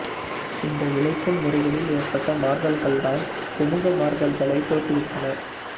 இந்த விளைச்சல் முறைகளில் ஏற்பட்ட மாறுதல்கள்தான் குமுக மாறுதல்களைத் தோற்றுவித்தன